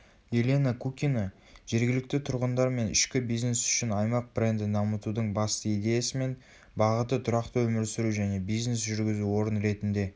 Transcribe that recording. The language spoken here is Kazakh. елена кукина жергілікті тұрғындар мен ішкі бизнес үшін аймақ брендін дамытудың басты идеясы мен бағыты тұрақты өмір сүру және бизнес жүргізу орын ретінде